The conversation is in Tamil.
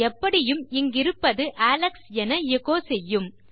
எப்படியும் இங்கிருப்பது அலெக்ஸ் என எச்சோ செய்யும்